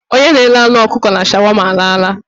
Onye na-ere anụ ọkụkọ na shawama alaala.